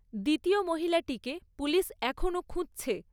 দ্বিতীয় মহিলাটিকে পুলিশ এখনও খুঁজছে।